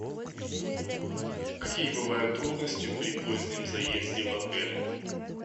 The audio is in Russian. какие бывают трудности при позднем заезде в отель